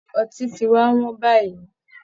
Ọtí ti wá wọn báyìí